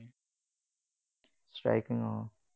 Striking অ